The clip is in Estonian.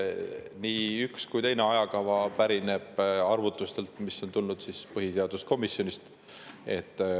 Nii üks kui ka teine ajakava arvutustel, mis on tulnud põhiseaduskomisjonist.